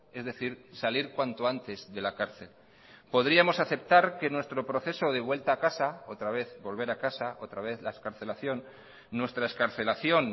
es decir salir cuanto antes de la cárcel podríamos aceptar que nuestro proceso de vuelta a casa otra vez volver a casa otra vez la excarcelación nuestra excarcelación